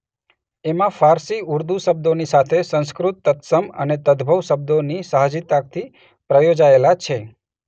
એમાં ફારસી ઉર્દૂ શબ્દોની સાથે સંસ્કૃત તત્સમ અને તદભવ શબ્દોની સાહજિકતાથી પ્રયોજાયેલા છે.